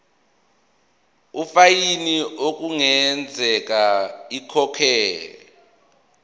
ifayini okungenzeka ikhokhwe